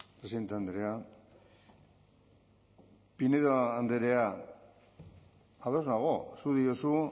presidente andrea pinedo andrea ados nago zuk diozu